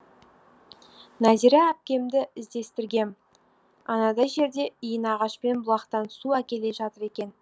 нәзира әпкемді іздестіргем анадай жерде иінағашпен бұлақтан су әкеле жатыр екен